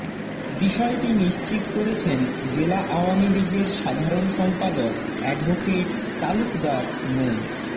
বিষয়টি নিশ্চিত করেছেন জেলা আওয়ামী লীগের সাধারণ সম্পাদক অ্যাডভোকেট তালুকদার মো